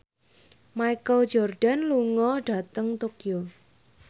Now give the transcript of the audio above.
Michael Jordan lunga dhateng Tokyo